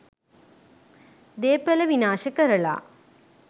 දේපල විනාශ කරලා